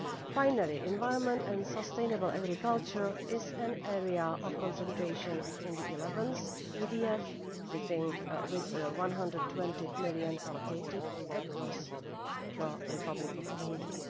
Finally, environment and sustainable agriculture is an area of concentration in the 11th EDF, with EUR 120 million allocated across the Democratic Republic of Congo.